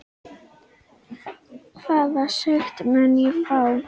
Hvaða sekt mun ég fá?